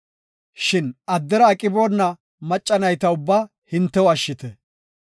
Shin addera aqiboona macca nayta ubbaa hintew ashshite.